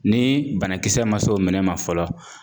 Ni banakisɛ ma s'o minɛn ma fɔlɔ